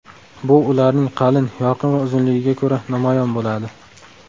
Bu ularning qalin, yorqin va uzunligiga ko‘ra namoyon bo‘ladi.